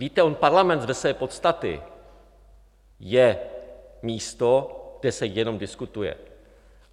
Víte, on Parlament ze své podstaty je místo, kde se jenom diskutuje.